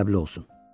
ədəbli olsun.